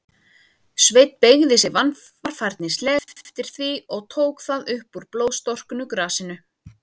Sveinn beygði sig varfærnislega eftir því, og tók það upp úr blóðstorknu grasinu.